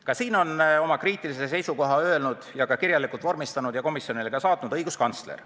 Ka selles asjas on oma kriitilise seisukoha öelnud, selle kirjalikult vormistanud ja komisjonile saatnud õiguskantsler.